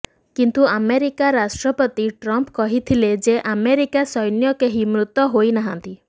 କିନ୍ତୁ ଆମେରିକା ରାଷ୍ଟ୍ରପତି ଟ୍ରମ୍ପ କହିଥିଲେ ଯେ ଆମେରିକା ସୈନ୍ୟ କେହି ମୃତ ହୋଇନାହାନ୍ତି